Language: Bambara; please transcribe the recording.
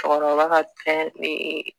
Cɛkɔrɔba ka fɛn